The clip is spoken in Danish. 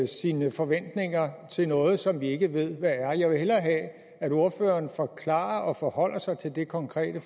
sine forventninger til noget som vi ikke ved hvad er jeg vil hellere have at ordføreren forklarer sig og forholder sig til det konkrete